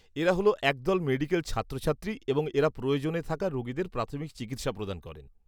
-এরা হল এক দল মেডিক্যাল ছাত্রছাত্রী এবং এরা প্রয়োজনে থাকা রোগীদের প্রাথমিক চিকিৎসা প্রদান করে।